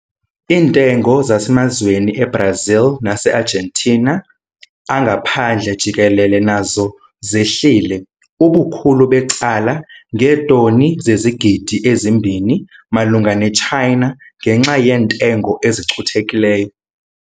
Iintengo zasemazweni eBrazil naseArgentina angaphandle jikelele nazo zehlile, ubukhulu becala, ngeetoni zezigidi ezi-2 malunga neChina ngenxa yeentengo ezicuthekileyo.